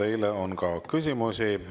Teile on ka küsimusi.